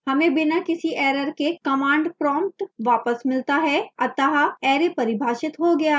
हमें बिना किसी error के command prompt वापस मिलता है अतः array परिभाषित हो गया है